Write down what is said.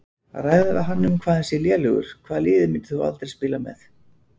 Ræða við um hann hvað hann sé lélegur Hvaða liði myndir þú aldrei spila með?